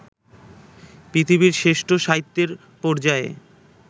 পৃথিবীর শ্রেষ্ঠ সাহিত্যের পর্যায়ে